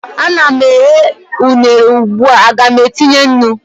a na m eghe unere ugbua, Aga m etinye nnu?